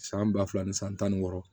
San ba fila ni san tan ni wɔɔrɔ